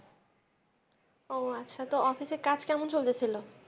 ও আচ্ছা তো office এ কাজ কেমন চলতেছিলো?